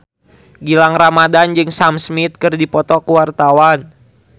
Gilang Ramadan jeung Sam Smith keur dipoto ku wartawan